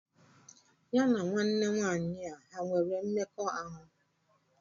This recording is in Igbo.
Ya na nwanne nwaanyị a ha nwere mmekọahụ?